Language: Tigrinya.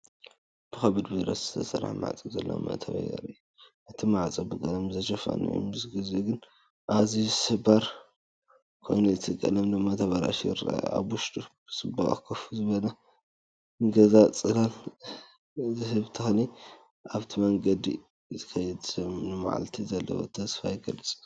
ብከቢድ ብረት ዝተሰርሐ ማዕጾ ዘለዎ መእተዊ የርኢ። እቲ ማዕጾ ብቐለም ዝተሸፈነ ኮይኑ፡ምስ ግዜ ግን ኣዝዩ ስብርባር ኮይኑ እቲ ቀለም ድማ ተበላሹ ይረአ። ኣብ ውሽጡ ብጽባቐ ኮፍ ዝበለ ገዛ፡ጽላል ዝህብ ተክሊ። ኣብቲ መንገዲ ዝኸይድ ሰብ ንመዓልቲ ዘለዎ ተስፋ ይገልጽ።